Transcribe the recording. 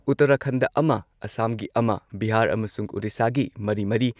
ꯎꯠꯇꯔꯈꯟꯗ ꯑꯃ ꯑꯁꯥꯝꯒꯤ ꯑꯃ , ꯕꯤꯍꯥꯔ ꯑꯃꯁꯨꯡ ꯎꯔꯤꯁꯥꯒꯤ ꯃꯔꯤꯃꯔꯤ,